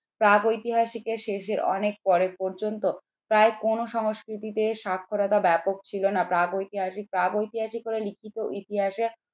প্রাগৈতিহাসিকের শেষে অনেক পরে পর্যন্ত প্রায় কোন সংস্কৃতিতে সাক্ষরতা ব্যাপক ছিল না প্রাগৈতিহাসিক প্রাগৈতিহাসিক করে লিখিত ইতিহাসে